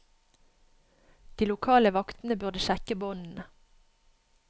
De lokale vaktene burde sjekke båndene.